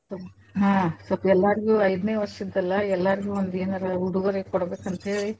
ಹಾ ಸ್ವಲ್ಪ ಎಲ್ಲಾರ್ಗು ಐದನೇ ವರ್ಷದಲ್ಲ್ ಎಲ್ಲಾರ್ಗೂ ಒಂದೇನಾರ ಉಡುಗೊರೆ ಕೊಡ್ಬೇಕಂತ ಹೇಳಿ.